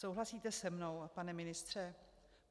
Souhlasíte se mnou, pane ministře?